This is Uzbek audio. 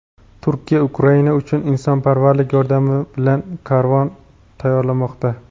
Turkiya Ukraina uchun insonparvarlik yordami bilan karvon tayyorlamoqda.